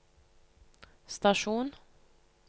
stasjon